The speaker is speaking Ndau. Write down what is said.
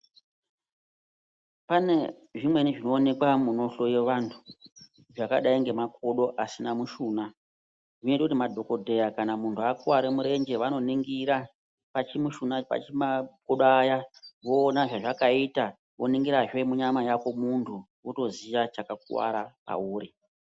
Pane zvimweni zvinooneka munohloyiwa vantu, zvakadai ngemakodo asina mushuna zvinoita kuti madhogodheya, kana muntu akuwara murenje vanoningira pamakodo aya, voona zvazvakaita, voningirahe munyama yako muntu, wotoziya chakakuwara pauri.